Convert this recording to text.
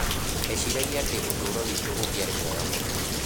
Ndeciragia atĩ ũtũũro witũ ũngĩarĩ mwega mũno.